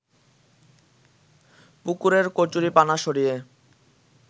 পুকুরের কচুরিপানা সরিয়ে